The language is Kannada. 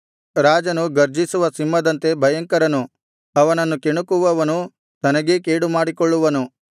ರಾಜನು ಗರ್ಜಿಸುವ ಸಿಂಹದಂತೆ ಭಯಂಕರನು ಅವನನ್ನು ಕೆಣಕುವವನು ತನಗೇ ಕೆಡುಕುಮಾಡಿಕೊಳ್ಳುವನು